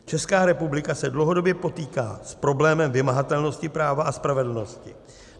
Česká republika se dlouhodobě potýká s problémem vymahatelnosti práva a spravedlnosti.